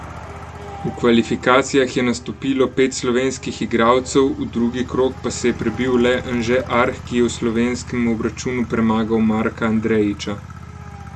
V kvalifikacijah je nastopilo pet slovenskih igralcev, v drugi krog pa se je prebil le Anže Arh, ki je v slovenskem obračunu premagal Marka Andrejiča.